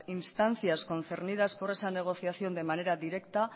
instancias concernidas por esa negociación de manera directa